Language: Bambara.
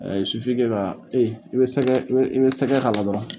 sufige la i be sɛgɛ i be i be sɛgɛ k'a la dɔrɔn